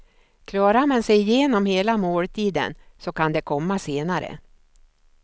Klarar man sig igenom hela måltiden så kan det komma senare.